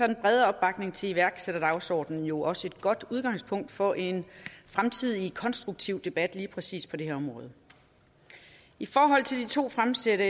den brede opbakning til iværksætterdagsordenen jo også et godt udgangspunkt for en fremtidig konstruktiv debat lige præcis på det her område i forhold til de to fremsatte